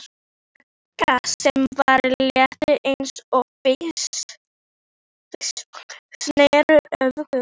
Magga, sem var létt eins og fis, sneri öfugt.